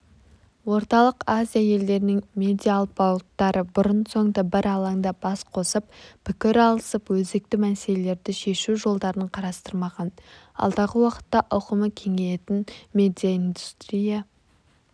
орталық азия елдерінің медиаалпауыттары бұрын-соңды бір алаңда бас қосып пікір алысып өзекті мәселелерді шешу жолдарын қарастырмаған алдағы уақытта ауқымы кеңейетін медиаиндустрия